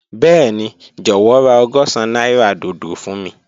Bẹẹni, jọwọ ra ọgọ́sán naira dodo fun mi.